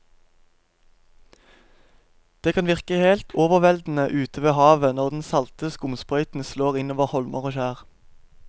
Det kan virke helt overveldende ute ved havet når den salte skumsprøyten slår innover holmer og skjær.